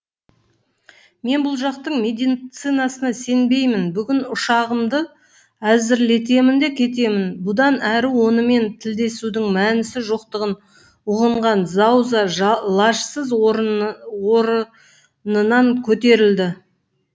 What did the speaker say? мен бұл жақтың меди цинасына сенбеймін бүгін ұшағымды әзірлетемін де кетемін бұдан әрі онымен тілдесудің мәнісі жоқтығын ұғынған зауза лажсыз оры нынан көтерілді